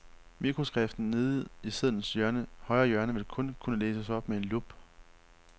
Mikroskriften nede i sedlens højre hjørne vil kun kunne læses med en lup.